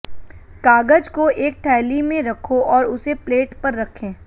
कागज को एक थैली में रखो और उसे प्लेट पर रखें